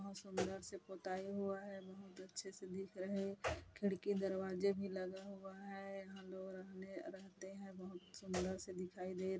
बहुत सुन्दर से पुताई हुआ है बहुत अच्छे से दिख रहे खिड़की दरवाजे भी लगा हुआ है यहा लोग रहने रहते है बहुत सुन्दर से दिखाई दे रह--